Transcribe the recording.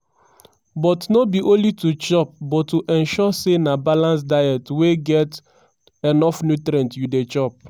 but no be only to chop but to ensure say na balanced diets wey get enough nutrients you dey chop.